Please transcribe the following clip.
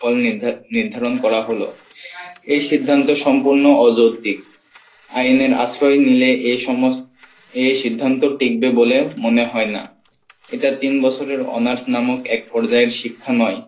ফল নির্ধা~নির্ধারণ করা হলো এই সিদ্ধান্ত সম্পূর্ণ অযুক্তি আইনের আশ্রয় নিলে এই সমস্ত এই সিদ্ধান্ত টিকবে বলে মনে হয় না এটা তিন বছরের honors নামক এক পর্যায়ের শিক্ষা নয়,